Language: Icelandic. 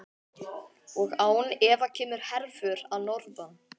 Og án efa kemur herför að norðan.